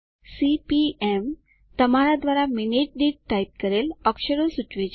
CPM તમારા દ્વારા minute દીઠ ટાઇપ કરેલ અક્ષર સૂચવે છે